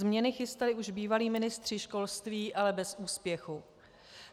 Změny chystali už bývalí ministři školství, ale bez úspěchu.